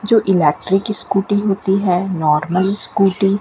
जो electric scooty होती है नॉर्मल स्कूटी --